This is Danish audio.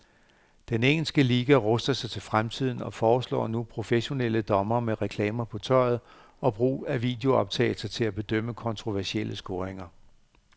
Den engelske liga ruster sig til fremtiden og foreslår nu professionelle dommere med reklamer på tøjet og brug af videooptagelser til at bedømme kontroversielle scoringer.